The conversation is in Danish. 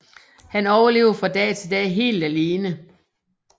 Han overlever fra dag til dag helt alene